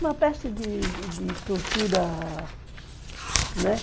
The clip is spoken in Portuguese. Uma peste de de tortura, né?